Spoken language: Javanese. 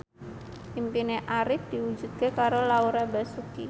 impine Arif diwujudke karo Laura Basuki